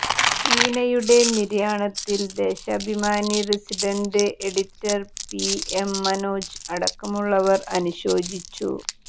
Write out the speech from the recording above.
ടീനയുടെ നിര്യാണത്തിൽ Deshabhimani resident editor P M Manoj അടക്കമുള്ളവർ അനുശോചിച്ചു